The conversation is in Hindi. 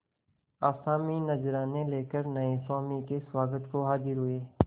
आसामी नजराने लेकर नये स्वामी के स्वागत को हाजिर हुए